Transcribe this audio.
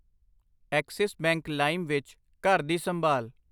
Axis Bank ਲਾਇਮ ਵਿੱਚ ਘਰ ਦੀ ਸੰਭਾਲ